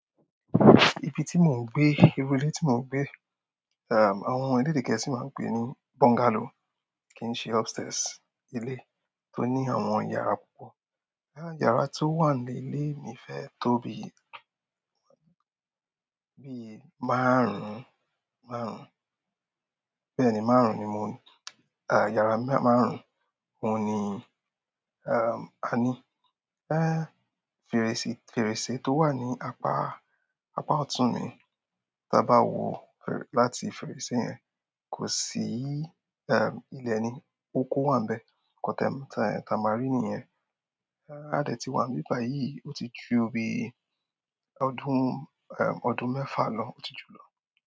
Ibi tí mò ń gbé, ìrù ilé tí mò ń gbé, àwọn ẹ̀lede gẹ̀ẹ́sì máa ń pe è ní bungalow, kì n ṣe upstairs. Ilé tó ní àwọn yàrá púpọ̀. Yàrá tó wà ní ilé mi fẹ́ tó bí i, bí i márùn-ún, márùn-ún, bẹ́ẹ̀ ni márùn-ún ni mò ńi, yàrá márùn-ún oun ni, a ní féèrèsè, fèrèsé tó wà ní apá, apá ọ̀tún mi. Ta bá wo láti fèrèsé yẹn kò sí ilẹ̀ ni, oko wà nbẹ̀. At anytime n taa ma ri niyẹn, a dẹ́ tì wà nbì báyìí, ó ti ju bí i ọdún, ọdún mẹ́fà lọ ó ti jù lọ.